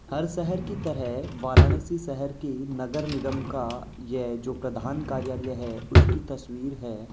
हर शहर की तरह वाराणसी शहर के नगर निगम का यह जो प्रधान कार्यालय हैं उसकी तस्वीर है।